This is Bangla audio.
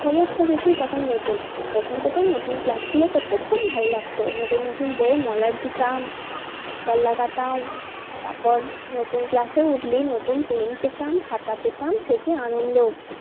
সমস্ত কিছুই তখন নতুন। প্রথম প্রথম নতুন class গুলো করতে খুবই ভালো লাগতো। নতুন নতুন বইয়ে মলাট দিতাম striker লাগাতাম তারপর নতুন class এই উঠলেই নতুন পেন পেতাম খাতা পেতাম সে কি আনন্দ।